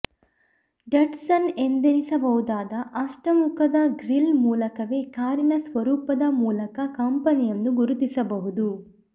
ಡಟ್ಸನ್ನ ಎಂದೆನಿಸಬಹುದಾದ ಅಷ್ಟಮುಖದ ಗ್ರಿಲ್ ಮೂಲಕವೇ ಕಾರಿನ ಸ್ವರೂಪದ ಮೂಲಕ ಕಂಪೆನಿಯನ್ನು ಗುರುತಿಸಬಹುದು